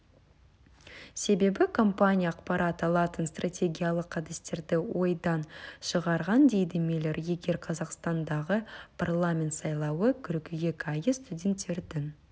себебі компания ақпарат алатын стратегиялық әдістерді ойдан шығарған дейді миллер егер қазақстандағы парламент сайлауы қыркүйек айы студенттердің